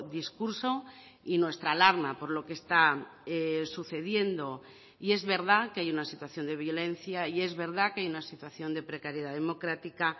discurso y nuestra alarma por lo que está sucediendo y es verdad que hay una situación de violencia y es verdad que hay una situación de precariedad democrática